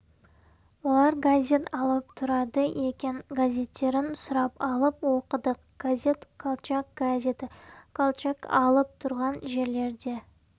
олар газет алып тұрады екен газеттерін сұрап алып оқыдық газет колчак газеті колчак алып тұрған жерлерде